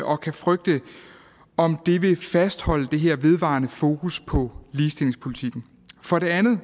og kan frygte om det vil fastholde det her vedvarende fokus på ligestillingspolitikken for det andet